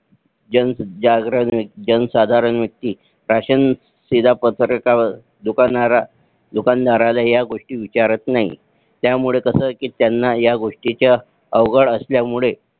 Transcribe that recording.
जनजागरण जनसाधारण व्यक्ती राशन शीदा पत्रिका दुकानदाराला ह्या गोष्टी विचारत नाही त्यामुळे कस कि त्यांना ह्या गोष्टी अवघड असल्या मुळे